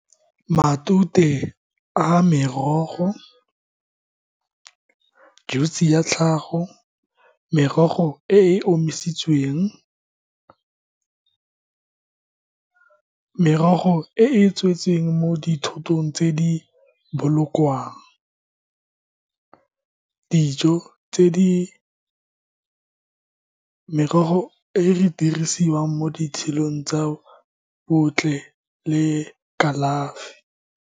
Matute a merogo, juice-e ya tlhago, merogo e e omisitsweng merogo e e tswetseng mo dithotong tse di bolokwang, dijo tse di merogo e re dirisiwang mo ditshelong tsa botlhe le kalafi.